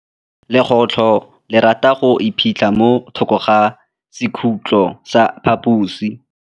Legôtlô le rata go iphitlha mo thokô ga sekhutlo sa phaposi.